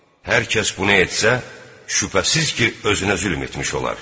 Hər kəs bunu etsə, şübhəsiz ki, özünə zülm etmiş olar.